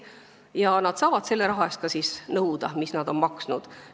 Mille eest maksavad, seda on neil õigus ka nõuda.